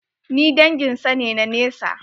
Ni dangin sa ne na nesa.